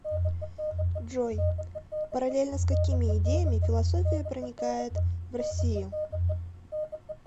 джой параллельно с какими идеями философия проникает в россию